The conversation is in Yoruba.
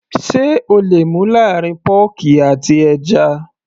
sé o le mú láàrín pọ́ọ̀kì àti ẹja